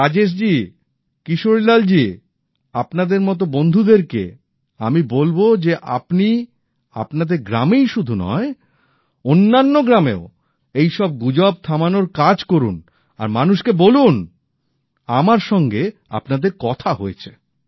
আর রাজেশজি কিশোরীলালজি আপনাদের মত বন্ধুদেরকে তো আমি বলব যে আপনি আপনাদের গ্রামেই শুধু নয় অন্যান্য গ্রামেও এইসব গুজব থামানোর কাজ করুন আর মানুষকে বলুন আমার সঙ্গে আপনাদের কথা হয়েছে